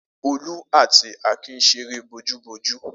Olú àti Akin ṣeré bojúbojú.